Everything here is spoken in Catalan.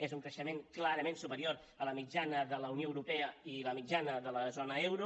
és un creixement clarament superior a la mitjana de la unió europea i a la mitjana de la zona euro